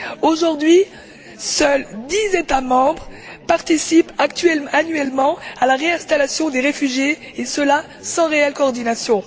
Aujourd'hui, seuls dix États membres participent annuellement à la réinstallation des réfugiés et cela sans réelle coordination.